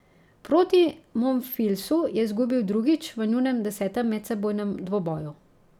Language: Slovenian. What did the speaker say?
Proti Monfilsu je izgubil drugič v njunem desetem medsebojnem dvoboju.